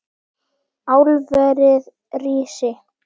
Álverið rísi!